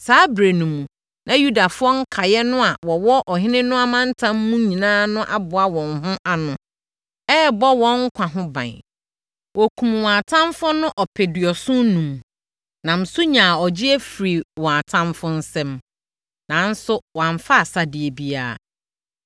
Saa ɛberɛ no mu, na Yudafoɔ nkaeɛ no a wɔwɔ Ɔhene no amantam mu nyinaa no aboa wɔn ho ano, rebɔ wɔn nkwa ho ban. Wɔkumm wɔn atamfoɔ no ɔpeduɔson enum, nam so nyaa ɔgyeɛ firii wɔn atamfoɔ nsam. Nanso, wɔamfa asadeɛ biara.